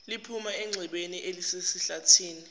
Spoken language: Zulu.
liphuma enxebeni elisesihlathini